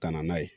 Ka na n'a ye